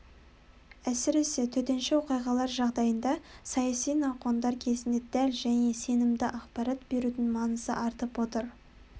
әсіресе төтенше оқиғалар жағдайында саяси науқандар кезінде дәл және сенімді ақпарат берудің маңызы артып отыр